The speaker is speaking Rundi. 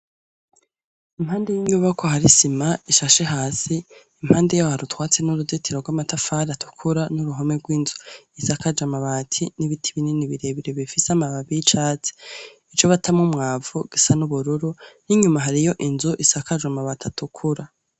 Impande y' inyubakwa hari isima ishashe hasi impande yaho hari utwatsi n' uruzitiro gw' amatafari atukura n' uruhome gw' inzu isakaje amabati n' ibiti binini bire bire bifise amababi y' icatsi ico batamwo umwavu gisa n’ubururu n' inyuma hariyo inzu isakaje amabati atukura.